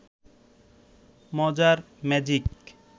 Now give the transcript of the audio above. মজার ম্যাজিক